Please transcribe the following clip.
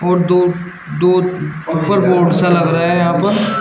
और दो दो अपर बोर्ड सा लग रहा है यहां पर।